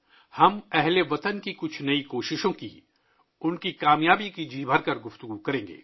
ہم ، ہم وطنوں کی کچھ نئی کوششوں کی ، اُن کی کامیابی پر ، جی بھر کے بات کریں گے